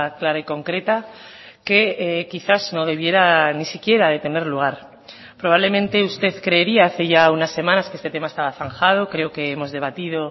clara y concreta que quizás no debiera ni siquiera de tener lugar probablemente usted creería hace ya unas semanas que este tema estaba zanjado creo que hemos debatido